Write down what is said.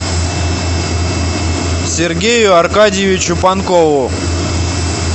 сергею аркадьевичу панкову